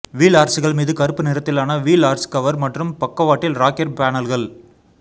wheel ஆர்ச்சுகள் மீது கருப்பு நிறத்திலான வீல் ஆர்ச் கவர் மற்றும் பக்கவாட்டில் ராக்கெர் பேனல்கள்